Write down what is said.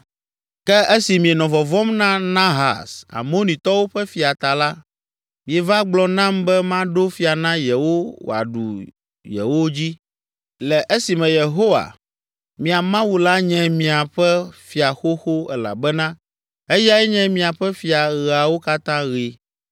“Ke esi mienɔ vɔvɔ̃m na Nahas, Amonitɔwo ƒe fia ta la, mieva gblɔ nam be maɖo fia na yewo wòaɖu yewo dzi, le esime Yehowa, mia Mawu la nye miaƒe Fia xoxo elabena eyae nye miaƒe Fia ɣeawo katã ɣi.